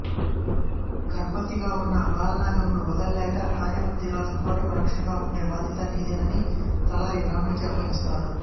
గర్భవతిగా నున్న బాలనాగమ్మను వదలలేక కార్యవర్థిరాజు కోటకు రక్షణగా ఉండే బాధ్యత నీదేనని తలారి రాముడికి అప్పగిస్తాడు